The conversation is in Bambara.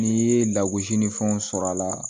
N'i ye lagosi ni fɛnw sɔrɔ a la